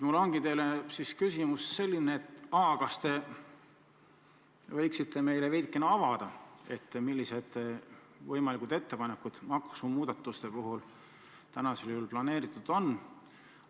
Mul ongi teile selline küsimus: kas te võiksite meile veidikene avada, millised võimalikud ettepanekud maksumuudatuste kohta planeeritud on?